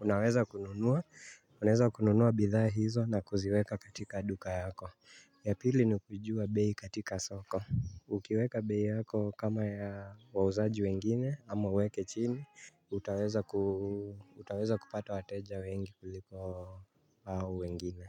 Unaweza kununua bidhaa hizo na kuziweka katika duka yako Yapili ni kujua bei katika soko Ukiweka bei yako kama ya wauzaji wengine ama weke chini utaweza kupata wateja wengi kuliko wengine.